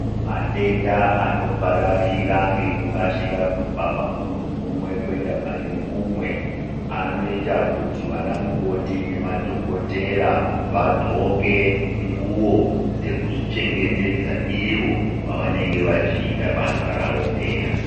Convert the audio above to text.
Matenda anopararira ngekukasika kubva pamuntu umwe kuenda pane umwe. Anoita kuti vanamukoti nemadhokotera vadxoke nguwo zvekudzichengetedza iwo pavanenge vachita basa rawo peya.